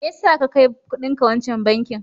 Me ya sa ka kai kudinka wancan bankin?